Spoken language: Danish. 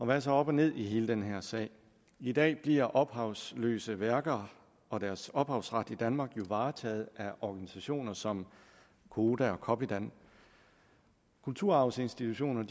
hvad er så op og ned i hele den her sag i dag bliver ophavsløse værker og deres ophavsret i danmark jo varetaget af organisationer som koda og copydan kulturarvsinstitutioner